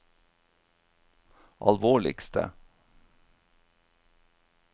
alvorligste